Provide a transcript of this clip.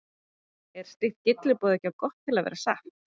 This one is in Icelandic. Er slíkt gylliboð ekki of gott til að vera satt?